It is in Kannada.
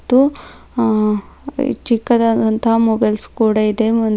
ಮತ್ತು ಆ ಚಿಕ್ಕದಾದಂತಹ ಮೊಬೈಲ್ಸ್ ಕೂಡ ಇದೆ ಓ--